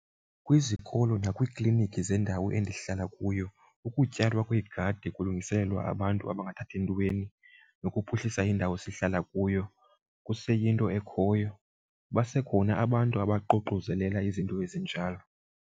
Kwizikolo nakwiikliniki zendawo endihlala kuyo ukutyalwa kweegadi kulungiselelwa abantu abangathathi ntweni nokuphuhlisa indawo sihlala kuyo kuseyinto ekhoyo, basekhona abantu abaququzelela izinto ezinjalo.